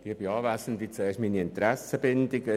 Zuerst zu meiner Interessenbindung.